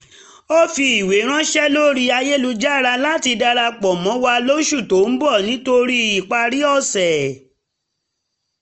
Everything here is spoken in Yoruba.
ó fi ìwé ránṣẹ́ lórí ayélujára láti darapọ̀ mọ́ wa lóṣù tó ń bọ̀ nítorí ìparí ọ̀sẹ̀